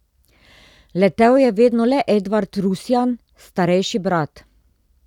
Letel je vedno le Edvard Rusjan, starejši brat.